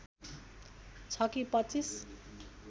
छ कि २५